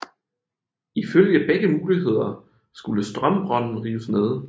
Ifølge begge muligheder skulle Strömbron rives ned